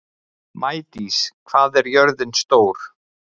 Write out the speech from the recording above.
Maídís, hvað er jörðin stór?